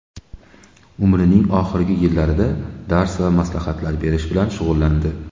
Umrining oxirgi yillarida dars va maslahatlar berish bilan shug‘ullandi.